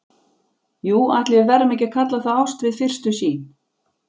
Jú, ætli við verðum ekki að kalla það ást við fyrstu sýn.